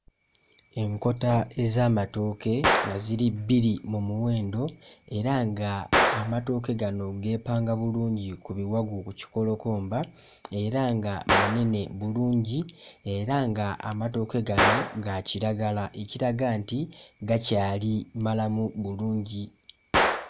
Enkota ez'amatooke nga ziri bbiri mu muwendo era ng'amatooke gano geepanga bulungi ku biwagu, ku kikolokomba era nga manene bulungi era ng'amatooke gano ga kiragala, ekiraga nti gakyali malamu bulungi.